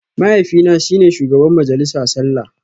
Mahaifina shi ne shugaban majalisa sallah